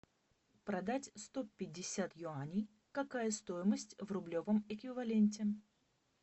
продать сто пятьдесят юаней какая стоимость в рублевом эквиваленте